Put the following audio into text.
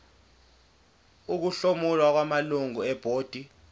ukuhlomula kwamalungu ebhodi